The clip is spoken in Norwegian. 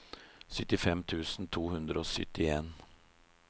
syttifem tusen to hundre og syttien